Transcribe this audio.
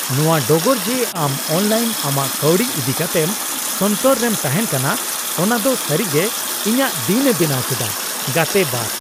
ᱱᱚᱣᱟ ᱰᱚᱜᱚᱨ ᱡᱮ ᱟᱢ ᱚᱱᱞᱟᱭᱤᱱ ᱟᱢᱟᱜ ᱠᱟᱹᱣᱰᱤ ᱤᱫᱤ ᱠᱟᱛᱮᱢ ᱥᱚᱱᱛᱚᱨ ᱨᱮᱢ ᱛᱟᱦᱮᱱ ᱠᱟᱱᱟ , ᱚᱱᱟ ᱫᱚ ᱥᱟᱨᱤ ᱜᱮ ᱤᱧᱟᱹᱜ ᱫᱤᱱ ᱮ ᱵᱮᱱᱟᱣ ᱠᱮᱫᱟ ᱾ (ᱜᱟᱛᱮ 2)